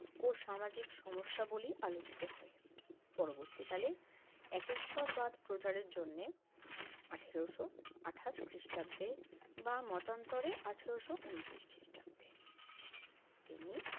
ও সামাজিক সমস্যাবলী আলোচিত হয়। পরবর্তীকালে একেশ্বরবাদ প্রচারের জন্যে আঠারশো আটাশ খ্রিষ্টাব্দে বা মতান্তরে আঠারশো ঊনত্রিশ খ্রিষ্টাব্দে তিনি